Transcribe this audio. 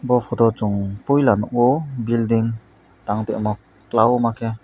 bo photo o chowng puila nogo building tang toimo kologma ke.